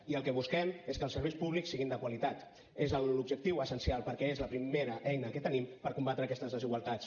i el que busquem és que els serveis públics siguin de qualitat és l’objectiu essencial perquè és la primera eina que tenim per combatre aquestes desigualtats